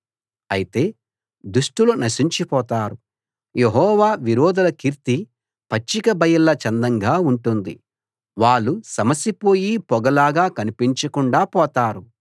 అయితే దుష్టులు నశించిపోతారు యెహోవా విరోధుల కీర్తి పచ్చిక బయళ్ళ చందంగా ఉంటుంది వాళ్ళు సమసిపోయి పొగలాగా కనిపించకుండా పోతారు